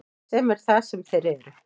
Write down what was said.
Sem er það sem þeir eru.